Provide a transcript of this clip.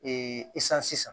san sisan